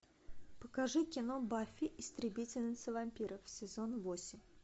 покажи кино баффи истребительница вампиров сезон восемь